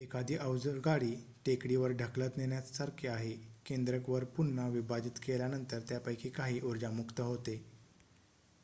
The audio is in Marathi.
एखादी अवजड गाडी टेकडीवर ढकलत नेण्यासारखे आहे केंद्रक वर पुन्हा विभाजित केल्यानंतर त्यापैकी काही ऊर्जा मुक्त होते